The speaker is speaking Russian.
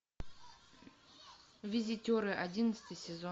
визитеры одиннадцатый сезон